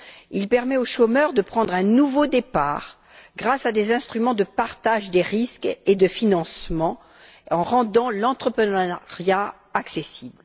Il permet aux chômeurs de prendre un nouveau départ grâce à des instruments de partage des risques et de financement, en rendant l'entrepreneuriat accessible.